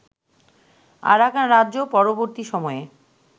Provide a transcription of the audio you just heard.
Arakan রাজ্য-পরবর্তী সময়ে